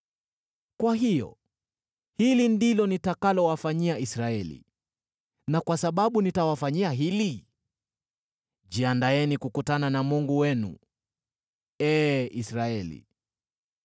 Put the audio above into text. “Kwa hiyo hili ndilo nitakalowafanyia, Israeli, na kwa sababu nitawafanyia hili, jiandaeni kukutana na Mungu wenu, ee Israeli.”